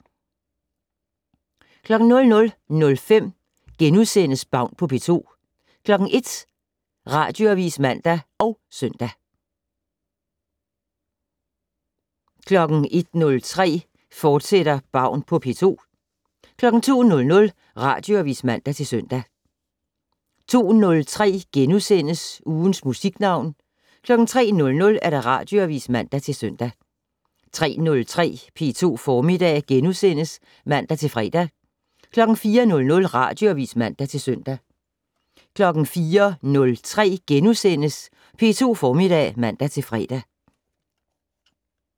00:05: Baun på P2 * 01:00: Radioavis (man og søn) 01:03: Baun på P2, fortsat 02:00: Radioavis (man-søn) 02:03: Ugens Musiknavn * 03:00: Radioavis (man-søn) 03:03: P2 Formiddag *(man-fre) 04:00: Radioavis (man-søn) 04:03: P2 Formiddag *(man-fre)